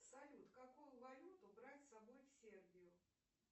салют какую валюту брать с собой в сербию